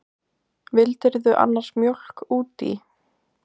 Vildirðu annars mjólk út í?